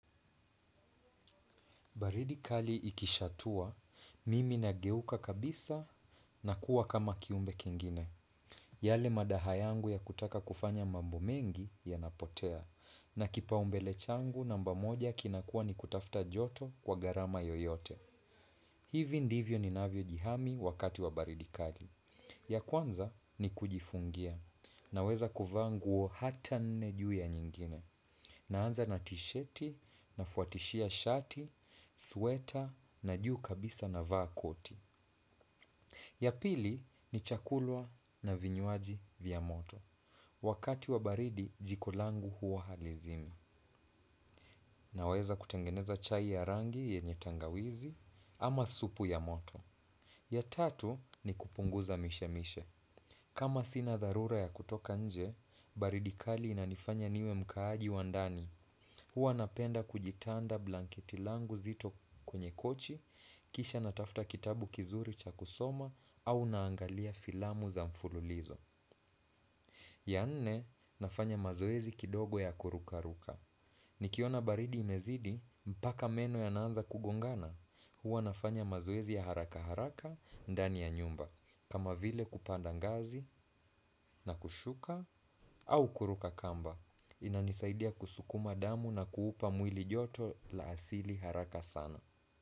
Baridi kali ikishatua, mimi nageuka kabisa na kuwa kama kiumbe kingine. Yale madaha yangu ya kutaka kufanya mambo mengi yanapotea, na kipau mbele changu namba moja kinakuwa ni kutafuta joto kwa gharama yoyote. Hivi ndivyo ninavyo jihami wakati wa baridi kali. Ya kwanza ni kujifungia, naweza kuvaa nguo hata nne juu ya nyingine. Naanza na tisheti, nafuatishia shati, sweta, na juu kabisa navaa koti. Ya pili ni chakula na vinywaji vya moto. Wakati wa baridi jiko langu huwa halizimi. Naweza kutengeneza chai ya rangi yenye tangawizi ama supu ya moto. Ya tatu ni kupunguza mishe mishe. Kama sina dharura ya kutoka nje, baridi kali inanifanya niwe mkaaji wa ndani. Huwa napenda kujitanda blanketi langu zito kwenye kochi, kisha natafuta kitabu kizuri cha kusoma au naangalia filamu za mfululizo. Ya nne, nafanya mazoezi kidogo ya kuruka ruka. Nikiona baridi imezidi, mpaka meno yana anza kugongana, huwa nafanya mazoezi ya haraka haraka, ndani ya nyumba, kama vile kupanda ngazi na kushuka au kuruka kamba. Inanisaidia kusukuma damu na kuupa mwili joto la asili haraka sana.